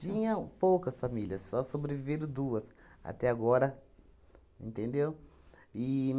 Tinham poucas famílias, só sobreviveram duas até agora, entendeu? E